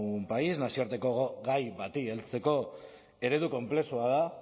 un país nazioarteko gai bati heltzeko eredu konplexua da